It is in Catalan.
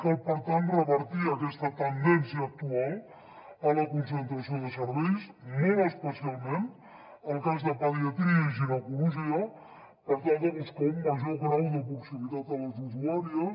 cal per tant revertir aquesta tendència actual a la concentració de serveis molt especialment el cas de pediatria i ginecologia per tal de buscar un major grau de proximitat a les usuàries